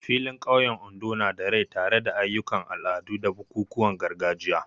Filin ƙauyen Ondo na da rai tare da ayyukan al'adu da bukukuwan gargajiya.